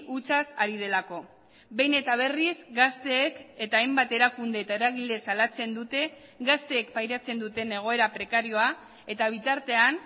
hutsaz ari delako behin eta berriz gazteek eta hainbat erakunde eta eragile salatzen dute gazteek pairatzen duten egoera prekarioa eta bitartean